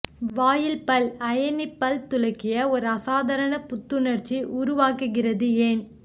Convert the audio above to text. வாயில் பல் அயனி பல் துலக்கிய ஒரு அசாதாரண புத்துணர்ச்சி உருவாக்குகிறது ஏன்